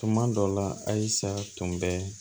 Tuma dɔ la a sa tun bɛ